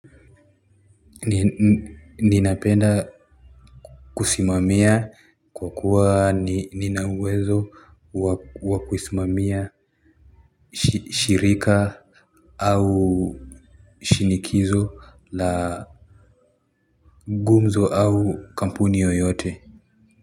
Ninapenda kusimamia kwa kuwa ninauwezo wa kusimamia shirika au shinikizo la gumzo au kampuni yoyote.